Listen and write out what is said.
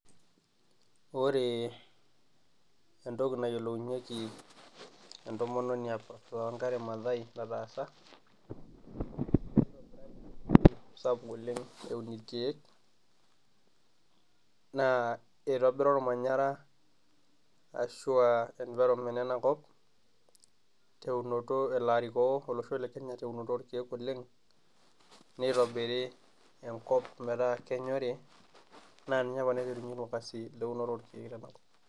Kore entoki nayiolounyeki entomononi Wangari Mathai enataasa sapuk oleng' eun ilkeek naa eitobira ilmanyara ashu um environment ena kop teunoto elo arikoo olosho le Kenya teunore oo lkeek oleng' neitobiri enkop metaa kenyori naa ninye opa naiterwa ina siai eunoto oo lkeeek tenakop